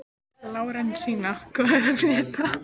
Lárensína, hvað er að frétta?